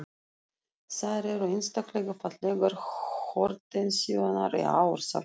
Þær eru einstaklega fallegar hortensíurnar í ár, sagði